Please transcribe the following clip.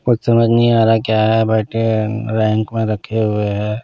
कुछ समझ नहीं आ रहा क्या है बट रैंक में रखे हुए हैं।